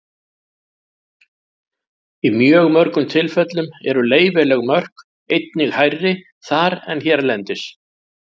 Í mjög mörgum tilfellum eru leyfileg mörk einnig hærri þar en hérlendis.